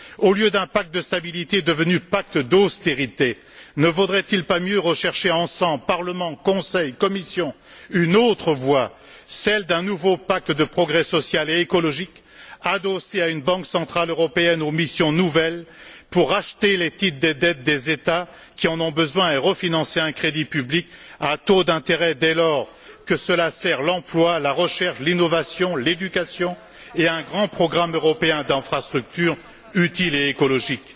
Au lieu d'un pacte de stabilité devenu pacte d'austérité, ne vaudrait il pas mieux rechercher ensemble, Parlement, Conseil, Commission, une autre voie celle d'un nouveau pacte de progrès social et écologique, adossé à une Banque centrale européenne aux missions nouvelles, pour racheter les titres des dettes des États qui en ont besoin et refinancer un crédit public à taux d'intérêt, dès lors que cela sert l'emploi, la recherche, l'innovation et l'éducation, ainsi qu'un grand programme européen d'infrastructures utiles et écologiques?